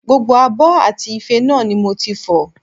Gbogbo abọ́ àti ife náà ni mo ti fọ̀